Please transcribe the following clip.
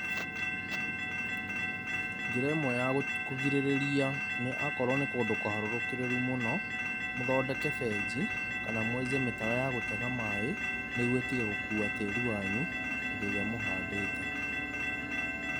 Njĩra ĩmwe ya kũrigĩrĩria nĩ akorũo nĩ kũndũ kũharũrũkĩrĩru mũno, mũthondeke benji, kana mwake mĩtaro ya gũtega maĩ, nĩguo ĩtige gũkua tĩri wanyu, hĩndĩ ĩrĩa mũhandĩte.